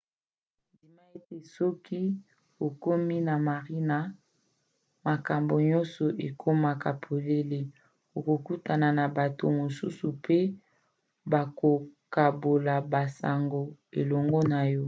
ndima ete soki okomi na marinas makambo nyonso ekokoma polele. okokutana na bato mosusu pe bakokabola basango elongo na yo